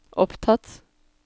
opptatt